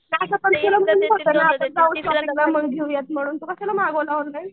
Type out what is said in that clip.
तर असं पण मी म्हणलं होतं ना आपण जाऊ शॉपिंगला मग घेऊया म्हणून तू कशाला मागवला ऑनलाईन?